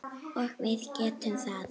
Og við getum það.